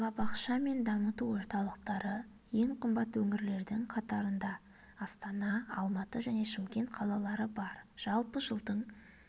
балабақша мен дамыту орталықтары ең қымбат өңірлердің қатарында астана алматы және шымкент қалалары бар жалпы жылдың